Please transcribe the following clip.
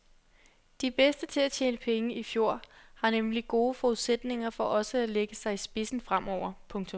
De bedste til at tjene penge i fjor har nemlig gode forudsætninger for også at lægge sig i spidsen fremover. punktum